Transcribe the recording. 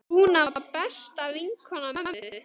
Dúna var besta vinkona mömmu.